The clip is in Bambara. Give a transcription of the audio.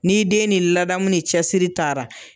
Ni' den ni ladamu ni cɛsiri taara.